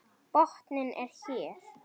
Botninn er hér!